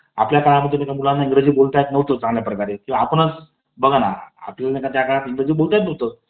आपल्या काळामध्ये देखील मुलांना इंग्रजी बोलता येत नव्हते चांगल्या प्रकारे किंवा आपणच बघा ना आपल्याला नाही का त्या प्रकारे इंग्रजी बोलता येत नव्हतं